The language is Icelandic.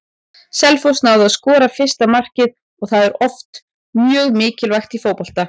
Selfoss náði að skora fyrsta markið og það er oft mjög mikilvægt í fótbolta.